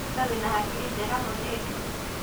We wĩna hakiri njega mũirĩtu